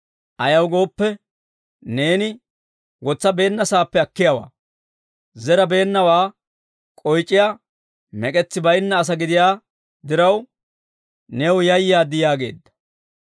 Ayaw gooppe, neeni wotsabeennasaappe akkiyaawaa; zerabeennawaa k'oyc'iyaa mek'etsi baynna asaa gidiyaa diraw, new yayaad› yaageedda.